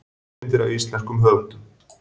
Svipmyndir af íslenskum höfundum